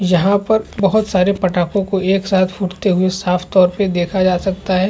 यहाँ पर बहुत सारे फटाको को एक साथ फूटते हुए साफ तौर पर देखा जा सकता है ।